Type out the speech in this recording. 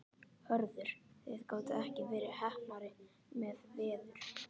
Hörður, þið gátuð ekki verið heppnari með veður?